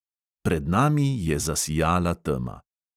Pred nami je zasijala tema.